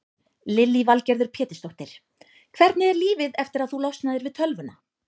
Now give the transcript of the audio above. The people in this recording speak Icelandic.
Lillý Valgerður Pétursdóttir: Hvernig er lífið eftir að þú losnaðir við tölvuna?